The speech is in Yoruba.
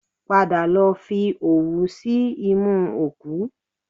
Padà lọ fi òwú sí imú òkú